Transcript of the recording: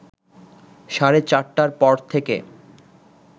সাড়ে চারটার পর থেকে